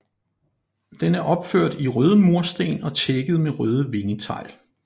Den er opført i røde mursten og tækket med røde vingetegl